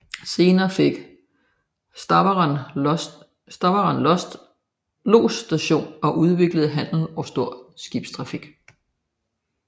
Senere fik Stavern lodsstation og udviklede handel og stor skibstrafik